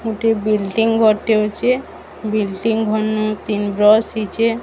ଏଠି ବିଲ୍ଡିଂ ଗୋଟେ ଅଛି ବିଲ୍ଡିଂ ଘନ୍ ତିନ୍ ରସିଚେ।